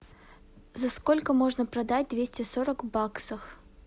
за сколько можно продать двести сорок баксов